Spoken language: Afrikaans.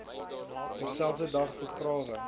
dieselfde dag begrawe